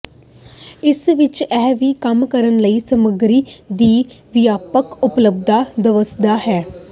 ਇਸ ਵਿਚ ਇਹ ਵੀ ਕੰਮ ਕਰਨ ਲਈ ਸਮੱਗਰੀ ਦੀ ਵਿਆਪਕ ਉਪਲਬਧਤਾ ਦਵਸਆ ਹੈ